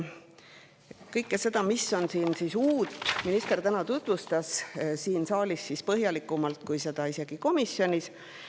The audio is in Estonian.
Kõike seda, mis on siin uut, tutvustas minister täna siin saalis isegi põhjalikumalt kui komisjonis.